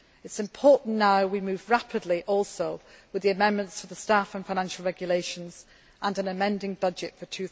It is important now that we move rapidly also with the amendments for the Staff and Financial Regulations and an amending budget